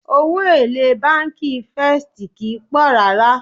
Owó èlé bánkì First kìí pọ̀ rárá.